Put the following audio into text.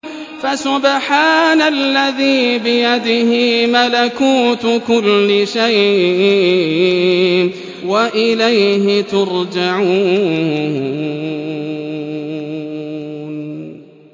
فَسُبْحَانَ الَّذِي بِيَدِهِ مَلَكُوتُ كُلِّ شَيْءٍ وَإِلَيْهِ تُرْجَعُونَ